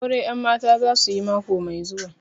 Aure 'yanmata za su yi mako mai zuwa